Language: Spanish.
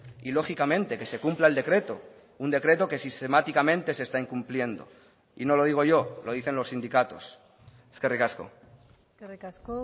y lógicamente que se cumpla el decreto un decreto que sistemáticamente se está incumpliendo y no lo digo yo lo dicen los sindicatos eskerrik asko eskerrik asko